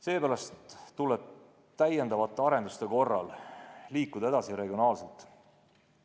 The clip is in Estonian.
Seepärast tuleb täiendavate arenduste korral edasi liikuda regionaalselt.